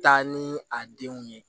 Taa ni a denw ye